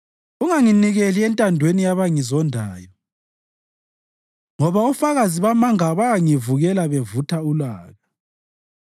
Unganginikeli entandweni yabangizondayo, ngoba ofakazi bamanga bayangivukela bevutha ulaka.